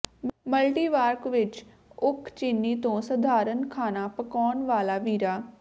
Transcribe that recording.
ਮਲਟੀਵਾਰਕ ਵਿੱਚ ਉਕਚਿਨੀ ਤੋਂ ਸਧਾਰਨ ਖਾਣਾ ਪਕਾਉਣ ਵਾਲਾ ਵੀਰਾ